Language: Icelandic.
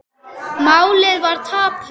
Málið var tapað.